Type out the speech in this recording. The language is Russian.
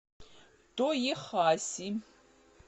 тоехаси